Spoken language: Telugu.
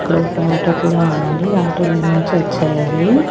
ఇక్కడ ఒక ఆటో కూడా ఉందండి ఆటోలో నుంచే వచ్చాయి అవి.